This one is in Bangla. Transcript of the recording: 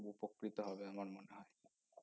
উপকৃত হবে আমার মনে হয়